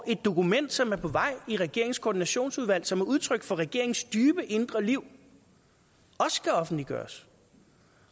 et dokument som er på vej i regeringens koordinationsudvalg som er udtryk for regeringens dybe indre liv også skal offentliggøres